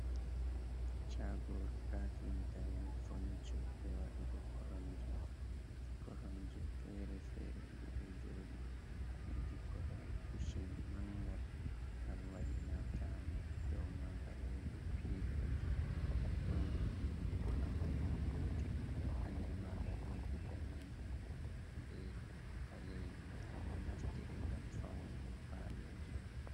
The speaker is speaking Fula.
Chagoru kafinta’en fonico, be waɗugo korom je fere-fere je ɗo joɗi wodi korwal kushin mangal, gal wadina tamu dow magal wodi piloji mauɗi ɗiɗi, be pamarel gotel, ɓanɗu magal wodi ɗanejum be ɓalejum, ɗum ɗo naftire ngam faunugo paloji.